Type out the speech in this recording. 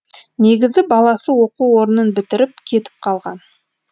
негізі баласы оқу орнын бітіріп кетіп қалған